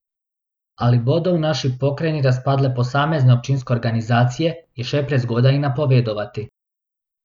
Ali bodo v naši pokrajini razpadle posamezne občinske organizacije, je še prezgodaj napovedovati.